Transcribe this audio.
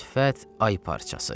Sifət ay parçası.